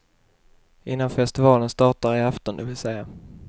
Innan festivalen startar i afton, vill säga.